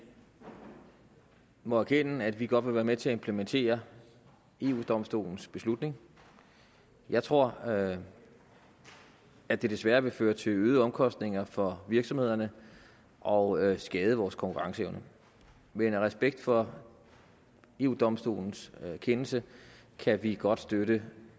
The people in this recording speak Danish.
må erkende at vi godt vil være med til at implementere eu domstolens beslutning jeg tror at at det desværre vil føre til øgede omkostninger for virksomhederne og skade vores konkurrenceevne men i respekt for eu domstolens kendelse kan vi godt støtte